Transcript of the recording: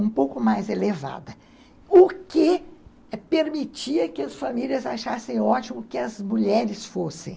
um pouco mais elevada, o que permitia que as famílias achassem ótimo que as mulheres fossem.